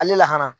Ale lahara